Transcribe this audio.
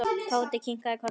Tóti kinkaði kolli.